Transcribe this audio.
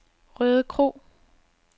Rødekro